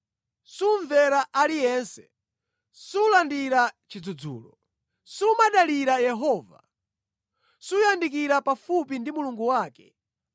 Sumvera aliyense, sulandira chidzudzulo. Sumadalira Yehova, suyandikira pafupi ndi Mulungu wake.